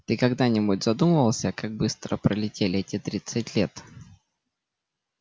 ты когда-нибудь задумывался как быстро пролетели эти тридцать лет